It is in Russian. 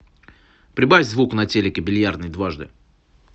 прибавь звук на телике в бильярдной дважды